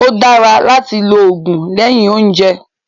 Ó dára láti lògùn lẹ́yìn óúnjẹ